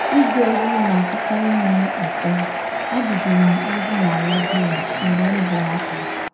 Ịgụ egwụ na - atọkarị m ụtọ, agụdịrị m egwụ na rediọ mgbe m bụ nwata.